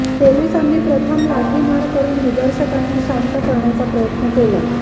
पोलिसांनी प्रथम लाठीमार करून निदर्शकांना शांत करण्याचा प्रयत्न केला